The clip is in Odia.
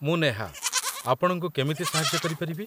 ମୁଁ ନେହା, ଆପଣଙ୍କୁ କେମିତି ସାହାଯ୍ୟ କରିପାରିବି?